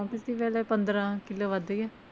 ਪੰਦਰਾਂ ਕਿੱਲੋ ਵੱਧ ਗਿਆ।